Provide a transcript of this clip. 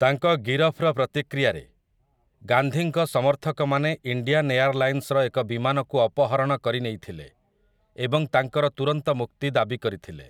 ତାଙ୍କ ଗିରଫର ପ୍ରତିକ୍ରିୟାରେ, ଗାନ୍ଧୀଙ୍କ ସମର୍ଥକମାନେ ଇଣ୍ଡିଆନ୍ ଏୟାରଲାଇନ୍‌ସ୍‌ର ଏକ ବିମାନକୁ ଅପହରଣ କରିନେଇଥିଲେ ଏବଂ ତାଙ୍କର ତୁରନ୍ତ ମୁକ୍ତି ଦାବି କରିଥିଲେ ।